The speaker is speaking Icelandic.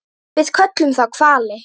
Við köllum þá hvali.